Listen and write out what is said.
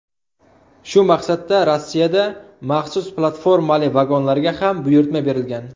Shu maqsadda Rossiyada maxsus platformali vagonlarga ham buyurtma berilgan.